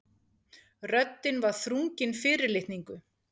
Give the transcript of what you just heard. Röddin var þrungin fyrirlitningu.